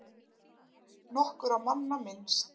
Nokkurra manna minnst